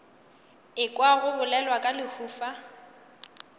ekwa go bolelwa ka lehufa